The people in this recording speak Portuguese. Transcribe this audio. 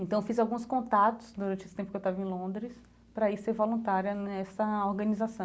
Então eu fiz alguns contatos durante esse tempo que eu estava em Londres para ir ser voluntária nessa organização.